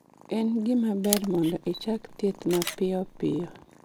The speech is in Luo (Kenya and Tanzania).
En gima ber mondo ichak thieth mapio pio